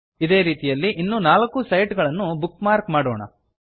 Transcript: ಇದೇ ರೀತಿಯಲ್ಲಿ ಇನ್ನೂ ನಾಲ್ಕು ಸೈಟ್ ಗಳನ್ನು ಬುಕ್ ಮಾರ್ಕ್ ಮಾಡೋಣ